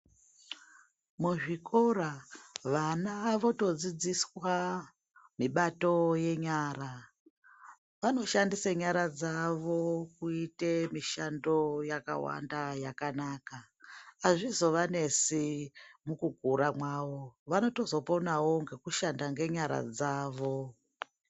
Muzvikora vana votodzidziswa mibato yenyara. Vanoshandise nyara dzavo kuite mishando yakawanda, yakanaka. Azvizovanesi mukukura mwavo, vanotozoponawo ngekushanda nenyara dzavo.